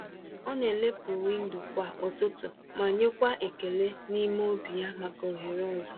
Ọ na-elepụ windo kwa ụtụtụ ma nyekwa ekele n’ime obi ya maka ohere ọzọ.